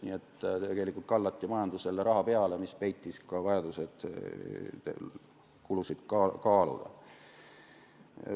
Nii et tegelikult kallati majandusele raha peale, mis peitis ka vajaduse kulusid kaaluda.